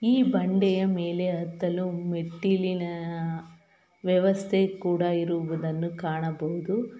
ಈ ಬಂಡೆಯ ಮೇಲೆ ಹತ್ತಲು ಮೆಟ್ಟಿಲಿನ ವ್ಯವಸ್ಥೆ ಕೂಡ ಇರುವುದನ್ನು ಕಾಣಬಹುದು.